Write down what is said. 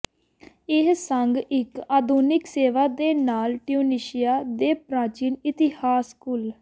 ਇਹ ਸੰਗ ਇੱਕ ਆਧੁਨਿਕ ਸੇਵਾ ਦੇ ਨਾਲ ਟਿਊਨੀਸ਼ੀਆ ਦੇ ਪ੍ਰਾਚੀਨ ਇਤਿਹਾਸ ਘੁਲ